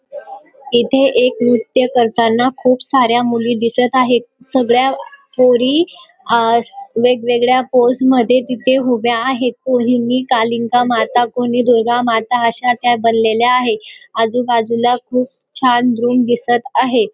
इथे एक नृत्य करताना खूप साऱ्या मुली दिसत आहेत सगळ्या पोरी आ वेगवेगळ्या पोज मध्ये तिथे उभ्या आहेत कोणी कालिंका माता कोणी दुर्गामाता आशा त्या बनलेल्या आहे आजूबाजूला खूप छान रूम दिसत आहे.